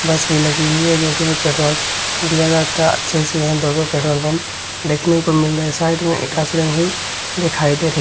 बस भी लगी हुई हैं जो की में पेट्रोल दिया जाता हैं अच्छे से यहां दो दो पेट्रोल पम्प देखने को मिल रहे है और साइड में दिखाई दे रही।